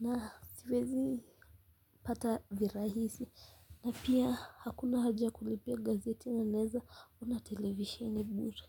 na siwezi pata virahisi na pia hakuna haja ya kulipia gazeti na naweza ona televisheni bure.